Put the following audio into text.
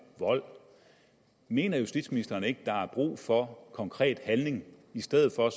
vold mener justitsministeren ikke der er brug for konkret handling i stedet for